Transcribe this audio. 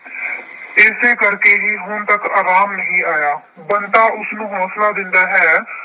ਇਸੇ ਕਰਕੇ ਹੀ ਹੁਣ ਤੱਕ ਆਰਾਮ ਨਹੀਂ ਆਇਆ। ਬੰਤਾ ਉਸਨੂੰ ਹੌਂਸਲਾ ਦਿੰਦਾ ਹੈ।